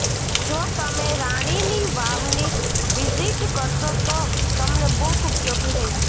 જો તમે રાણીની વાવની વિઝિટ કરશો તો તમને બુક ઉપયોગી રહેશે